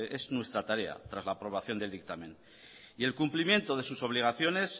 es nuestra tarea tras la aprobación del dictamen y el cumplimiento de sus obligaciones